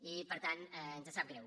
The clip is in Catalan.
i per tant ens sap greu